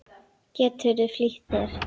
Geturðu flýtt þér.